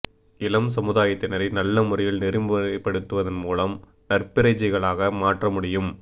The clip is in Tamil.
இளம் சமுதாயத்தினரை நல்ல முறையில் நெறிமுறைப்படுத்துவதன் மூலம் நற்பிரஜைகளாக மாற்ற முடியும்